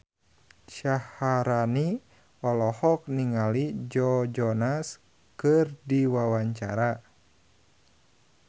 Syaharani olohok ningali Joe Jonas keur diwawancara